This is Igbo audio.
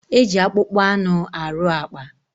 E ji akpụkpọ anụ arụ àkpà.